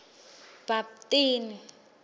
bhaptini